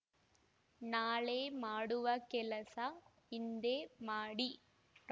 ನಾಳೆ ಮಾಡುವ ಕೆಲಸ ಇಂದೇ ಮಾಡಿ ಕ